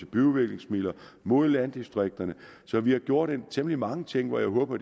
byudviklingsmidler mod landdistrikterne så vi har gjort temmelig mange ting og jeg håber